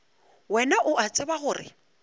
wena o a tseba gore